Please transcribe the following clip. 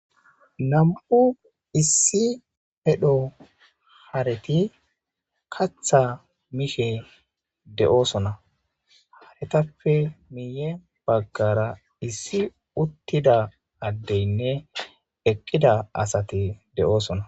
nam7u issi hedho hareti katha mishe de7oosona haretappe miiye baggara issi uttida addeynne eqqida asati de7oosona